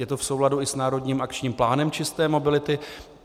Je to v souladu i s národním akčním plánem čisté mobility.